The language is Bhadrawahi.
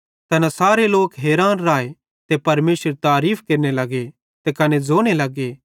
तै अधरंगी बिमार मैनू सेब्भी केरे सामने ते खड़े उठो ते ज़ैस खट्टी पुड़ तै झ़ुलतो थियो अपने दोग्गे पुड़ छ़ुइतां परमेशरेरी बड़याई केरतोकेरतो घरजो च़लो जेव